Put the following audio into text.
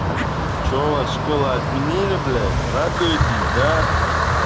что у вас школа отменили блять радуетесь да